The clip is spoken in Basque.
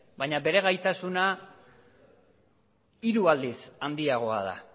baina bere gaitasuna hiru aldiz handiagoa da